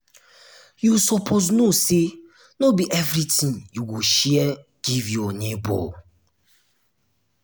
you suppose know sey no be everytin you go share give your nebor.